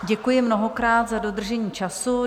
Děkuji mnohokrát za dodržení času.